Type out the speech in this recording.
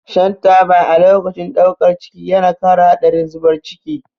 Shan taba a lokacin ɗaukar ciki yana ƙara haɗarin zubar ciki.